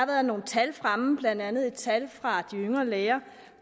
været nogle tal fremme blandt andet et tal fra yngre læger